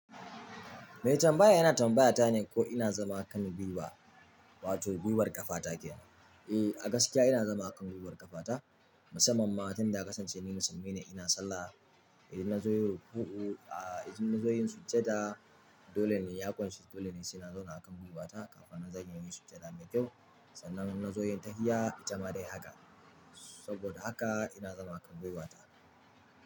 Mai tambaya yana tambayata ne ko ina zama a kan gwiwa wato gwiwar ƙafa take. Eh a gaskiya ina zama a kan gwiwar ƙafata musamman ma tun da aka sance ni musulmi ne ina sallah. Idan na zo yin ruku'u, ah idan na zo yin sujjada dole ne ya ƙunshi dole sai na zauna akan gwiwata sannan zan yi sujjada mai kyau sannan na zo yin tahiyya ita ma dai haka. Saboda haka ina zama a kan gwiwata.